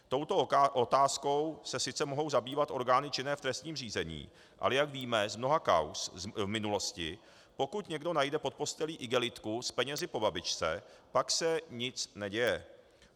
Touto otázkou se sice mohou zabývat orgány činné v trestním řízení, ale jak víme z mnoha kauz v minulosti, pokud někdo najde pod postelí igelitku s penězi po babičce, pak se nic neděje.